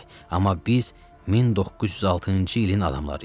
Amma biz 1906-cı ilin adamlarıyıq.